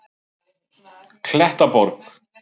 Klettaborg